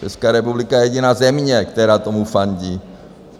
Česká republika je jediná země, která tomu fandí.